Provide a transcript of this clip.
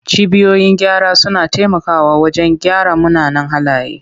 Cibiyoyin gyara suna taimakawa wajen gyara munanan halaye.